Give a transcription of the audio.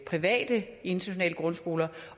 private internationale grundskoler